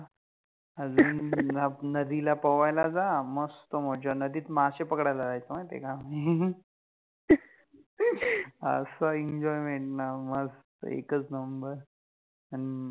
अजुन न नदिला पोवायला जा, मस्त मजा, नदित मासे पकडायला जायचो माहिति आहे क आम्हि, अस्स Enjoyment न मस्त एकच नम्बर, अन